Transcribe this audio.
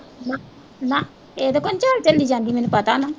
ਨਾ ਇਹਦੇ ਤੋਂ ਤਾਂ ਨੀਂ ਝੱਲੀ ਜਾਂਦੀ ਮੈਨੂੰ ਪਤਾ ਨਾ